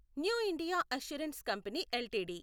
new India assurance company LTD